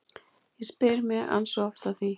Ég spyr mig ansi oft að því